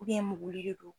mugulen do